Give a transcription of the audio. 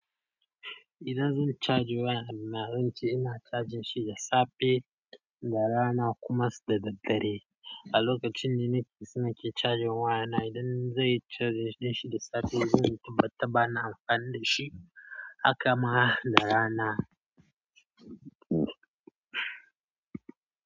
Idan zan charjin waya na, zan ce ina charging shi da safe da rana kuma sai da daddare. A lokacin da na ke sa nake charging waya na, idan zan yi charging din shi da safe, zai tabbata bana amfani da shi haka ma da rana.